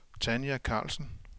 Tanja Karlsen